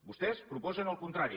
vostès proposen el contrari